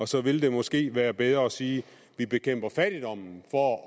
så vil det måske være bedre at sige at vi bekæmper fattigdommen for